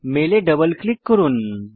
মেলে double click করুন